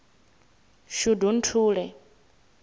shundunthule